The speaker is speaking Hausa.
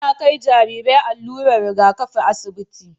Ana Kai Jarirai allurar Riga kafi asibiti